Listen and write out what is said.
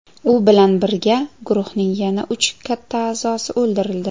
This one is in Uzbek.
U bilan birga guruhning yana uch katta a’zosi o‘ldirildi.